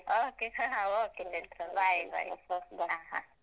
Okay okay Chaitra bye bye ಹ ಹ.